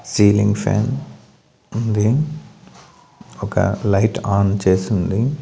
Ceiling fan ఉంది ఒక light on చేసి ఉంది.